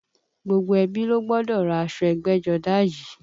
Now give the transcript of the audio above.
Gbogbo ẹbí ló gbọ́dọ̀ ra aṣọ ẹgbẹ́jọdá yìí